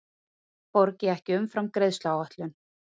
Borgi ekki umfram greiðsluáætlun